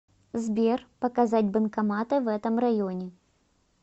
сбер показать банкоматы в этом районе